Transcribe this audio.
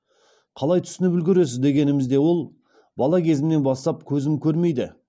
қалай түсініп үлгересіз дегенімізде ол бала кезімнен бастап көзім көрмейді